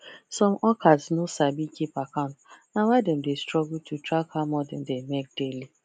some hawkers no sabi keep account na why dem dey struggle to track how much dem dey make daily